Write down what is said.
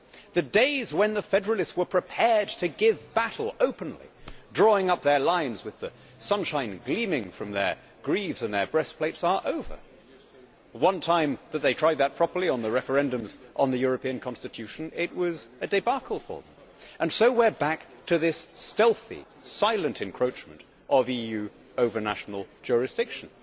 The days when the federalists were prepared to give battle openly, drawing up their lines with the sunshine gleaming from their greaves and their breastplates, are over. The one time that they tried that properly on the referendums on the European constitution it was a debacle for them. So we are back to this stealthy, silent encroachment of EU over national jurisdiction.